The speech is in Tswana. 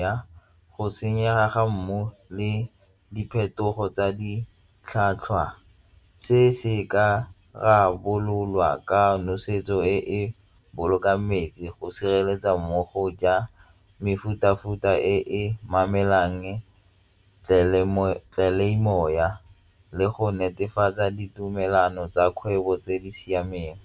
ya go senyega ga mmu le diphetogo tsa ditlhwatlhwa. Se se ka rarabololwa ka nosetso e e bolokang metsi go sireletsa mmogo ja mefuta-futa e le go netefatsa ditumelano tsa kgwebo tse di siameng.